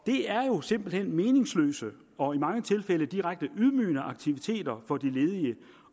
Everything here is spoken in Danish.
det er jo simpelt hen meningsløse og i mange tilfælde direkte ydmygende aktiviteter for de ledige